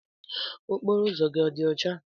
Okporo ụzọ gị ọ dị ọcha?